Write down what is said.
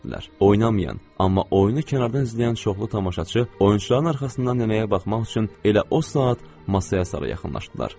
Oynamayan, amma oyunu kənardan izləyən çoxlu tamaşaçı oyunçuların arxasından nənəyə baxmaq üçün elə o saat masaya sarı yaxınlaşdılar.